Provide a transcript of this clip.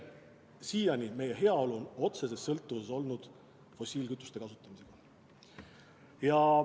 Siiani on meie heaolu otseses sõltuvuses olnud fossiilkütuste kasutamisest.